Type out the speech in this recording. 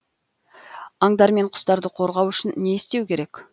аңдар мен құстарды қорғау үшін не істеу керек